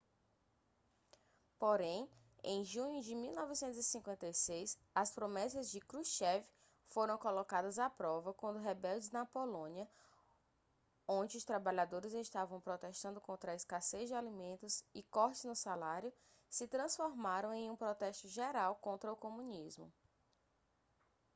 porém em junho de 1956 as promessas de krushchev foram colocadas à prova quando rebeldes na polônia onde os trabalhadores estavam protestando contra a escassez de alimentos e cortes no salário se transformaram em um protesto geral contra o comunismo